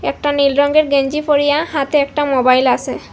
একটা নীল রঙের গেঞ্জি পরিয়া হাতে একটা মোবাইল আসে।